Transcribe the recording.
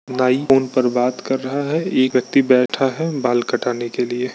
नाई फ़ोन पर बात कर रहा है एक व्यक्ति बैठा है बाल कटाने के लिए।